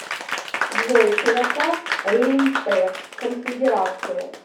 джой широта рейнская конфедерация